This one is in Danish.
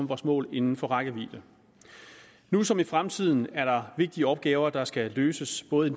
vores mål inden for rækkevidde nu som i fremtiden er der vigtige opgaver der skal løses både i